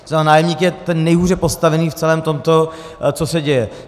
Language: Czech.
To znamená, nájemník je ten nejhůře postavený v celém tomto, co se děje.